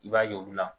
I b'a ye olu la